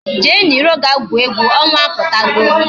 Jee n'iro ga-gwuo egwu, ọnwa apụtago